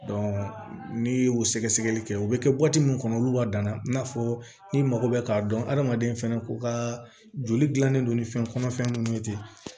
n'i ye o sɛgɛsɛgɛli kɛ u bɛ kɛ bɔti min kɔnɔ olu ka danna i n'a fɔ ni mago bɛ k'a dɔn adamaden fana k'u ka joli dilannen don ni fɛn kɔnɔfɛn minnu ye ten